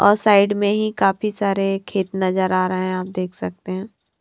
और साइड में ही काफी सारे खेत नजर आ रहे हैं आप देख सकते हैं।